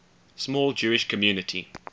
small jewish community